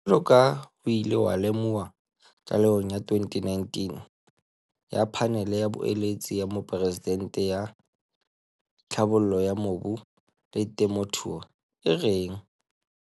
Jwaloka ha ho ile ha lemohuwa tlalehong ya 2019 ya Phanele ya Boeletsi ya Moporesidente ya Tlhabollo ya Mobu le Temothuo, e reng